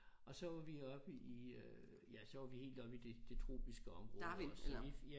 Og så var vi oppe i øh ja så var vi helt oppe i det det tropiske område også så vi ja